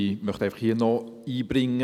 Ich möchte hier einfach noch einbringen: